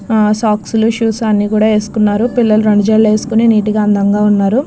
సాక్ లు షూ లు అన్నీ కూడా వేసుకున్నారు పిల్లలు రెండు జడలు వేసుకొని నీటు గా అందంగా ఉన్నారు.